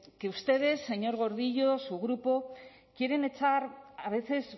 que ustedes señor gordillo su grupo quieren echar a veces